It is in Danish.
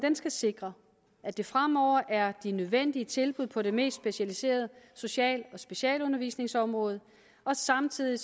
skal sikre at der fremover er de nødvendige tilbud på de mest specialiserede social og specialundervisningsområder og samtidig